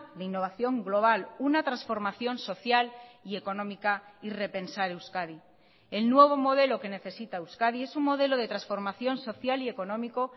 de innovación global una transformación social y económica y repensar euskadi el nuevo modelo que necesita euskadi es un modelo de transformación social y económico